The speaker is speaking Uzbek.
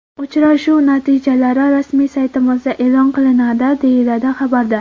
Uchrashuv natijalari rasmiy saytimizda e’lon qilinadi”, deyiladi xabarda.